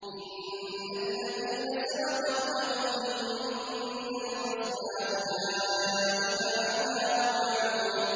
إِنَّ الَّذِينَ سَبَقَتْ لَهُم مِّنَّا الْحُسْنَىٰ أُولَٰئِكَ عَنْهَا مُبْعَدُونَ